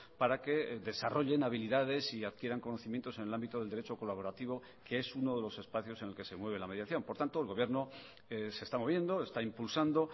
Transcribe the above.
para que desarrollen habilidades y adquieran conocimientos en el ámbito del derecho colaborativo que es uno de los espacios en el que se mueve la mediación por tanto el gobierno se está moviendo está impulsando